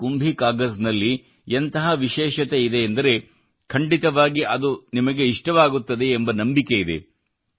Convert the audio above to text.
ಈ ಕುಂಭಿ ಕಾಗಜ್ ನಲ್ಲಿ ಎಂತಹ ವಿಶೇಷತೆಯಿದೆ ಎಂದರೆ ಖಂಡಿತವಾಗಿಯೂ ಅದು ನಿಮಗೆ ಇಷ್ಟವಾಗುತ್ತದೆ ಎಂಬ ನಂಬಿಕೆ ನನಗಿದೆ